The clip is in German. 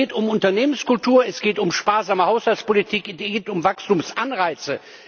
Es geht um Unternehmenskultur, es geht um sparsame Haushaltspolitik, um Wachstumsanreize.